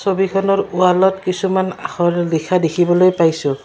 ছবিখনৰ ৱালত কিছুমান আখৰ লিখা দেখিবলৈ পাইছোঁ।